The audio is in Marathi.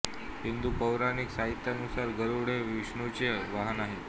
हिंदू पौराणिक साहित्यानुसार गरुड हे विष्णूचे वाहन आहे